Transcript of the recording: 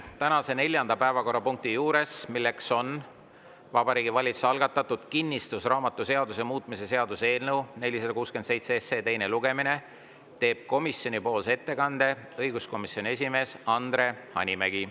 Tänase neljanda päevakorrapunkti arutelul, Vabariigi Valitsuse algatatud kinnistusraamatuseaduse muutmise seaduse eelnõu 467 teisel lugemisel, teeb komisjoni ettekande õiguskomisjoni esimees Andre Hanimägi.